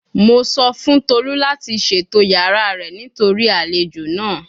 Mo sọ fun Tolu lati ṣeto yara rẹ nitori alejo naa